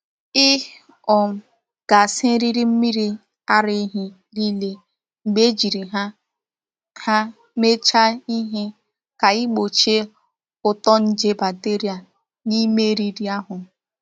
Ị um ga-asa eriri mmiri ara ehi niile mgbe ejiri ha ha meechaa ihe ka ị gbochie uto nje bacteria n’ime eriri ahụ.